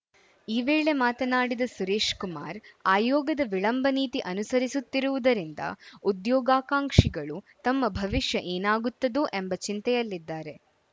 ಈ ವೇಳೆ ಮಾತನಾಡಿದ ಸುರೇಶ್‌ ಕುಮಾರ್‌ ಆಯೋಗದ ವಿಳಂಬ ನೀತಿ ಅನುಸರಿಸುತ್ತಿರುವುದರಿಂದ ಉದ್ಯೋಗಾಕ್ಷಾಂಕ್ಷಿಗಳು ತಮ್ಮ ಭವಿಷ್ಯ ಏನಾಗುತ್ತದೋ ಎಂಬ ಚಿಂತೆಯಲ್ಲಿದ್ದಾರೆ